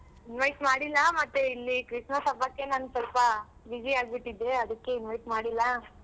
Invite ಮಾಡಿಲ್ಲ ಮತ್ತೆ ಇಲ್ಲಿ Christmas ಹಬ್ಬಕ್ಕೆ ನಾನ್ ಸ್ವಲ್ಪ busy ಆಗ್ಬಿಟಿದ್ದೇ ಅದಕ್ಕೆ invite ಮಾಡಿಲ್ಲ.